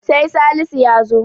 sai Salisu ya zo